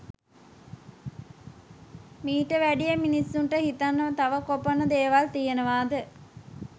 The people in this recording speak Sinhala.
මීට වැඩිය මිනිස්සුන්ට හිතන්න තව කොපමණ දේවල් තියෙනවාද?